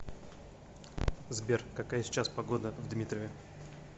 сбер какая сейчас погода в дмитрове